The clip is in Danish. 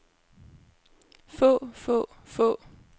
få få få